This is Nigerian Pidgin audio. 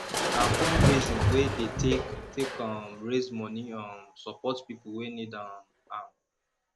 na fundraising we dey take take um raise moni um support pipo wey need um am